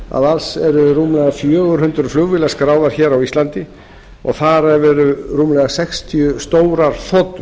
að alls eru rúmlega fjögur hundruð flugvélar skráðar á íslandi og þar af rúmlega sextíu stórar þotur